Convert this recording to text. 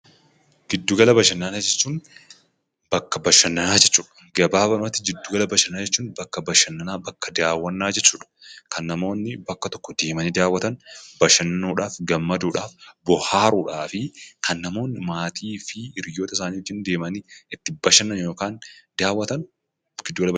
Giddu gala bashannanaa jechuun bakka bashannanaa jechuudha. Gabaabumatti jiddugala bashannanaa jechuun bakka bashannanaa, bakka daawwannaa jechuudha. Kan namoonni bakka tokko deemanii daawwatan bashannanuudhaaf, gammaduudhaf, bohaaruudhaafi kan namoonni maatii fi hiriyootasaanii wajjin deemanii itti bashannanan yookan daawwatan giddu gala bashannanaa.